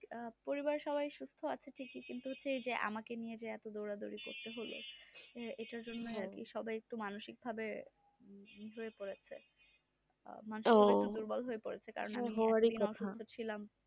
পরিবারের সবাই ঠিকই আছে কিন্তু আমাকে নিয়ে যে দৌড়াদৌড়ি করতে হলো এটার জন্য সবাই একটু মানসিকভাবে ই হয়ে পড়েছে তারপর ছিলাম